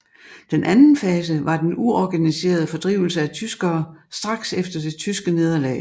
Den anden fase var den uorganiserede fordrivelse af tyskere straks efter det tyske nederlag